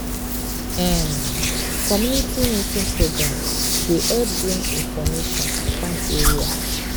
um community meeting program dey help bring information come area.